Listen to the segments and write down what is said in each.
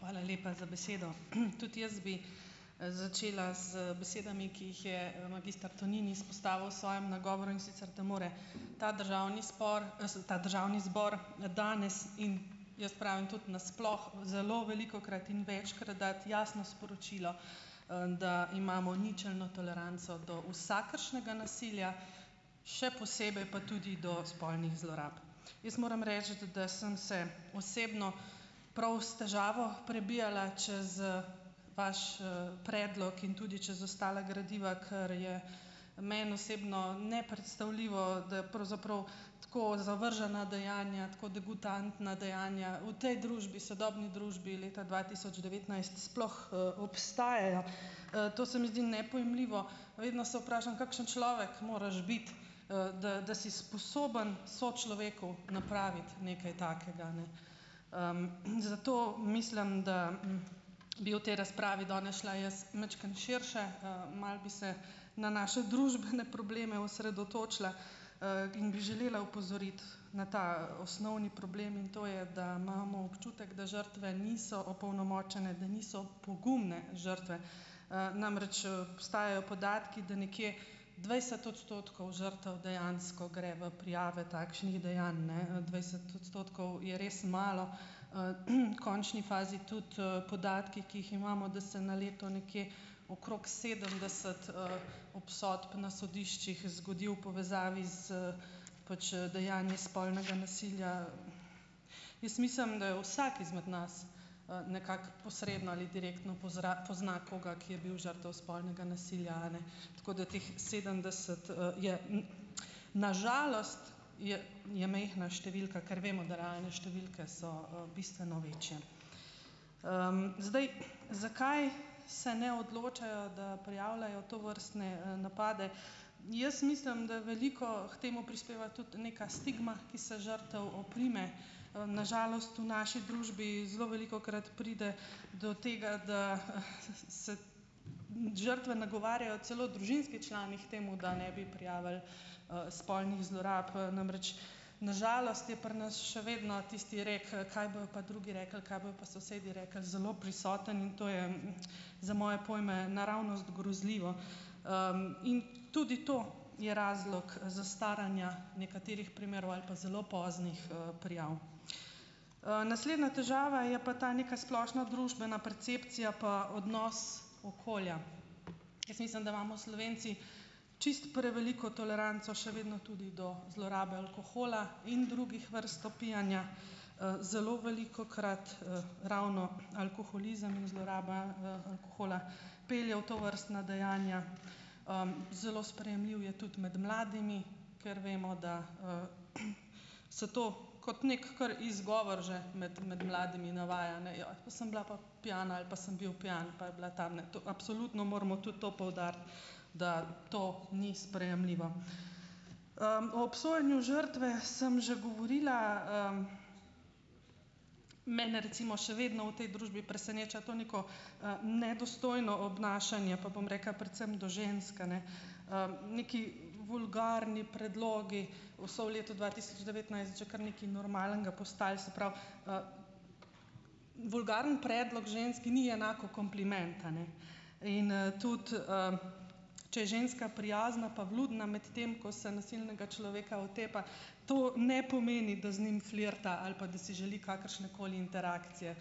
Hvala lepa za besedo. Tudi jaz bi, začela z besedami, ki jih je magister Tonin izpostavil v svojem nagovoru, in sicer, da more ta državni spor, se ta državni zbor danes in - jaz pravim - tudi na sploh, zelo velikokrat in večkrat dati jasno sporočilo, da imamo ničelno toleranco do vsakršnega nasilja, še posebej pa tudi do spolnih zlorab. Jaz moram reči, da sem se osebno, prav s težavo, prebijala čez, vaš, predlog in tudi čez ostala gradiva, kar je meni osebno nepredstavljivo, da pravzaprav tako zavržena dejanja, tako "degutantna" dejanja v tej družbi, sodobni družbi leta dva tisoč devetnajst, sploh, obstajajo. To se mi zdi nepojmljivo. Vedno se vprašam, kakšen človek moraš biti, da da si sposoben sočloveku napraviti nekaj takega, ne. Zato mislim, da, bi v tej razpravi danes šla jaz majčkeno širše, malo bi se na naše družbene probleme osredotočila, in bi želela opozoriti na ta osnovni problem in to je, da imamo občutek, da žrtve niso "opolnomočene", da niso pogumne žrtve. Namreč, obstajajo podatki, da nekje dvajset odstotkov žrtev dejansko gre v prijave takšnih dejanj, ne, dvajset odstotkov je res malo. V končni fazi tudi, podatki, ki jih imamo, da se na leto nekje okrog sedemdeset, obsodb na sodiščih zgodi v povezavi z, pač, dejanji spolnega nasilja. Jaz mislim, da je vsak izmed nas, nekako posredno ali direktno pozra pozna koga, ki je bil žrtev spolnega nasilja, a ne, tako da teh sedemdeset, je, na žalost, je je majhna številka, ker vemo, da realne številke so, bistveno večje. Zdaj, zakaj se ne odločajo, da prijavljajo tovrstne, napade. Jaz mislim, da veliko k temu prispeva tudi neka stigma, ki se žrtev oprime. Na žalost v naši družbi zelo velikokrat pride do tega, da se žrtve nagovarjajo celo družinski člani k temu, da ne bi prijavili, spolnih zlorab. Namreč na žalost je pri nas še vedno tisti rek, kaj bojo pa drugi rekli, kaj bojo pa sosedi rekli, zelo prisoten, in to je, za moje pojme naravnost grozljivo, In tudi to je razlog zastaranja nekaterih primerov ali pa zelo poznih, prijav. Naslednja težava je pa ta neka splošna družbena percepcija pa odnos okolja. Jaz mislim. da imamo Slovenci čisto preveliko toleranco še vedno tudi do zlorabe alkohola in drugih vrst opijanja, zelo velikokrat, ravno alkoholizem in zloraba, alkohola pelje v tovrstna dejanja. Zelo sprejemljiv je tudi med mladimi, ker vemo, da, se to kot neki kar izgovor že med med mladimi navaja. Ne. Joj, pa sem bila pa pijana, ali pa sem bil pijan pa je bila tam. Ne, to. Absolutno moramo tudi to poudariti, da to ni sprejemljivo. O obsojanju žrtve sem že govorila. Mene recimo še vedno v tej družbi preseneča to neko, nedostojno obnašanje, pa bom rekla predvsem do žensk, a ne, Neki vulgarni predlogi so v letu dva tisoč devetnajst že kar nekaj normalnega postali, se pravi, Vulgaren predlog ženski ni enako kompliment, a ne, in, tudi, če je ženska prijazna pa vljudna, medtem ko se nasilnega človeka otepa, to ne pomeni, da z njim flirta, ali pa da si želi kakršne koli interakcije.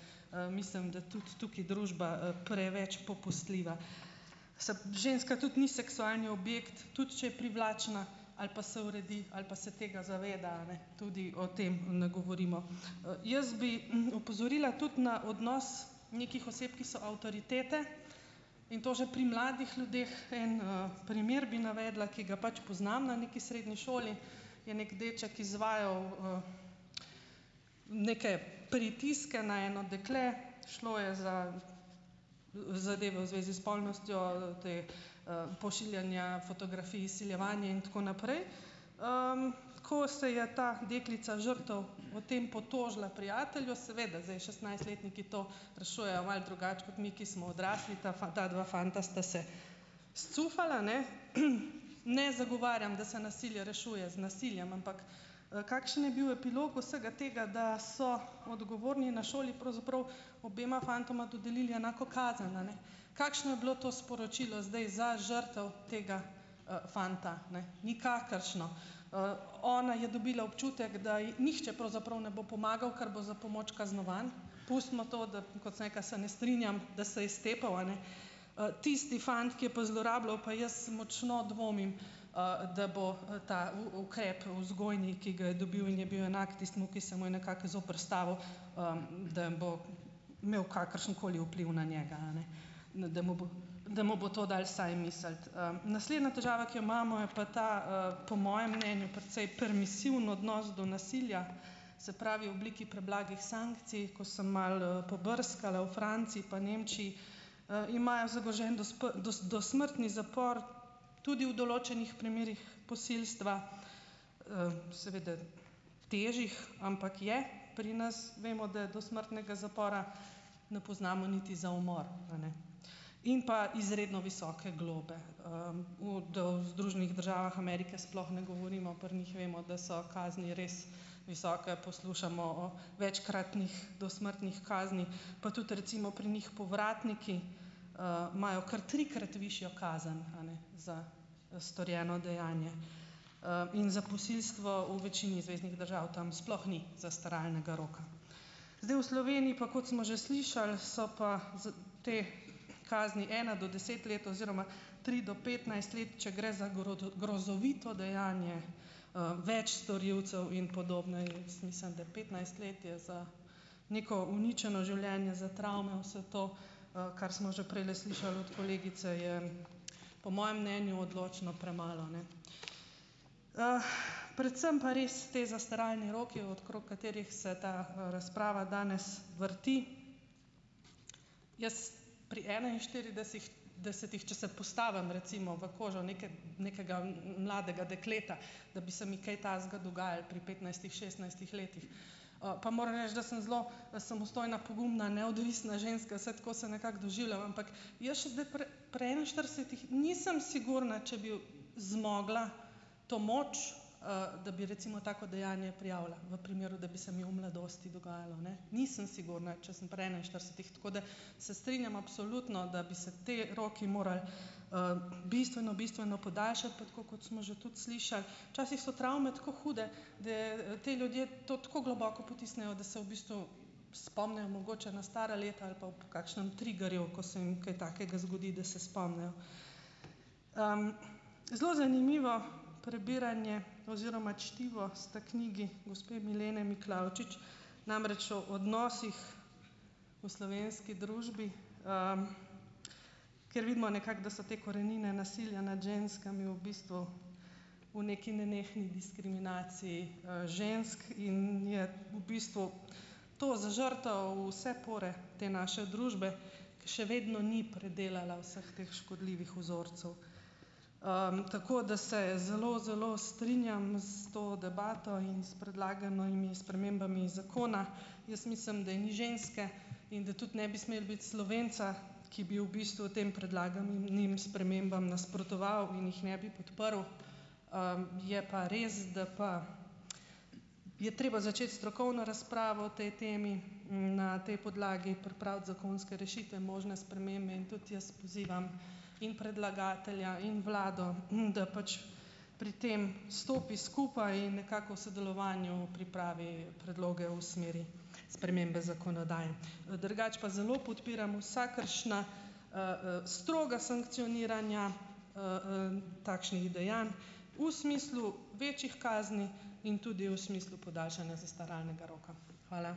Mislim, da tudi tukaj družba preveč popustljiva. ženska tudi ni seksualni objekt, tudi če je privlačna ali pa se uredi, ali pa se tega zaveda, a ne. Tudi o tem ne govorimo. jaz bi opozorila tudi na odnos nekih oseb, ki so avtoritete in to že pri mladih ljudeh. En, primer bi navedla, ki ga pač poznam. Na neki srednji šoli je neki deček izvajal, neke pritiske na eno dekle. Šlo je za zadeve v zvezi s spolnostjo, ta, pošiljanja fotografij, izsiljevanje in tako naprej. Ko se je ta deklica, žrtev, o tem potožila prijatelju, seveda zdaj šestnajstletniki to rešujejo malo drugače kot mi, ki smo odrasli. Ta ta dva fanta sta se scufala, ne, Ne zagovarjam, da se nasilje rešuje z nasiljem, ampak, kakšen je bil epilog vsega tega, da so odgovorni na šoli pravzaprav obema fantoma dodelili enako kazen, a ne. Kakšno je bilo to sporočilo zdaj za žrtev, tega, fanta, ne. Nikakršno. Ona je dobila občutek, da ji nihče pravzaprav ne bo pomagal, ker bo za pomoč kaznovan. Pustimo to, da kot sem rekla, se ne strinjam, da se je stepel, a ne. Tisti fant, ki je pa zlorabljal, pa jaz močno dvomim, da bo, ta ukrep vzgojni, ki ga je dobil in je bil enak tistim, ki se mu je nekako zoperstavil, da bo imel kakršen koli vpliv na njega, a ne. Da mu bo, da mu bo to dalo vsaj misliti. Naslednja težava, ki jo imamo, je pa ta, po mojem mnenju precej permisiven odnos do nasilja. Se pravi, v obliki preblagih sankcij, ko sem malo, pobrskala v Franciji pa Nemčiji, imajo zagrožen dosmrtni zapor tudi v določenih primerih posilstva, seveda težjih, ampak je. Pri nas vemo, da dosmrtnega zapora ne poznamo niti za umor, a ne. In pa izredno visoke globe. Da o Združenih državah Amerike sploh ne govorimo. Pri njih vemo, da so kazni res visoke. Poslušamo o večkratnih dosmrtnih kaznih, pa tudi recimo pri njih povratniki, imajo kar trikrat višjo kazen, a ne, za storjeno dejanje. In za posilstvo v večini zveznih držav tam sploh ni zastaralnega roka. Zdaj, v Sloveniji pa, kot smo že slišali, so pa te kazni ena do deset let, oziroma tri do petnajst let, če gre za grozovito dejanje, več storilcev in podobno. Jaz mislim da petnajst let je za neko uničeno življenje, za travme, vse to, kar smo že prejle slišali od kolegice, je, po mojem mnenju odločno premalo, a ne. Predvsem pa res ti zastaralni roki, okrog katerih se ta, razprava danes vrti. Jaz pri desetih, če se postavim recimo v kožo neke, nekega mladega dekleta, da bi se mi kaj takega dogajalo pri petnajstih, šestnajstih letih, pa moram reči, da sem zelo samostojna, pogumna, neodvisna ženska, vsaj tako se nekako doživljam, ampak jaz še zdaj pri pri enainštiridesetih nisem sigurna, če bi zmogla to moč, da bi recimo tako dejanje prijavila v primeru, da bi se mi v mladosti dogajalo, ne. Nisem sigurna, če sem pri enainštiridesetih, tako da se strinjam, absolutno, da bi se ti roki morali, bistveno bistveno podaljšati, pa tako kot smo že tudi slišali, včasih so travme tako hude, da, ti ljudje to tako globoko potisnejo, da se v bistvu spomnijo mogoče na stara leta ali pa ob kakšnem triggerju, ko se jim kaj takega zgodi, da se spomnijo. Zelo zanimivo prebiranje oziroma čtivo sta knjigi gospe Milene Miklavčič. Namreč o odnosih v slovenski družbi, ker vidimo nekako, da so te korenine nasilja nad ženskami v bistvu v neki nenehni diskriminaciji, žensk in je v bistvu to za žrtev v vse pore te naše družbe, ki še vedno ni predelala vseh teh škodljivih vzorcev. Tako da se zelo zelo strinjam s to debato in s predlaganimi spremembami zakona. Jaz mislim, da je ni ženske, in da tudi ne bi smelo biti Slovenca, ki bi v bistvu tem predlaganim spremembam nasprotoval in jih ne bi podprl. Je pa res, da pa, je treba začeti strokovno razpravo o tej temi, na tej podlagi pripraviti zakonske rešitve, možne spremembe in tudi jaz pozivam in predlagatelja in vlado, da pač pri tem stopi skupaj in nekako v sodelovanju pripravi predloge o smeri spremembe zakonodaje. Drugače pa zelo podpiram vsakršna, stroga sankcioniranja, takšnih dejanj, v smislu večjih kazni in tudi v smislu podaljšanja zastaralnega roka. Hvala.